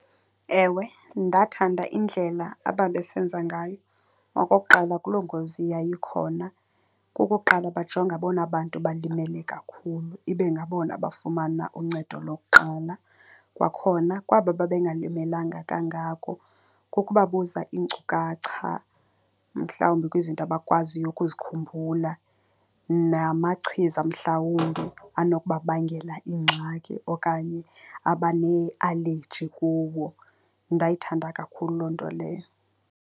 Ewe, ndathanda indlela ababesenza ngayo okokuqala kuloo ngozi yayikhona. Okokuqala bajonga abona bantu balimele kakhulu, ibe ngabona bafumana uncedo lokuqala. Kwakhona kwaba babengalimelanga kangako kukubabuza iinkcukacha, mhlawumbi kwizinto abakwaziyo ukuzikhumbula namachiza mhlawumbi anokuba bangela iingxaki okanye abane-allergy kuwo. Ndayithanda kakhulu loo nto leyo.